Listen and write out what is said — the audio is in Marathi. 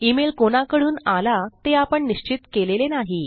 ईमेल कोणाकडून आला ते आपण निश्चित केलेले नाही